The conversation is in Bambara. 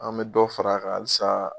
An me dɔ far'a kan halisa